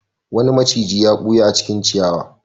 Wani maciji ya ɓuya a cikin ciyawa.